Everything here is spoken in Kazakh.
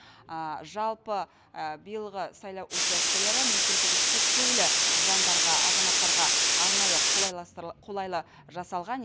жалпы биылғы сайлау учаскелері мүмкіндігі шектеулі жандарға азаматтарға арнайы қолайлы жасалған